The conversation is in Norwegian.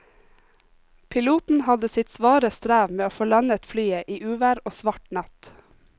Piloten hadde sitt svare strev med å få landet flyet i uvær og svart natt.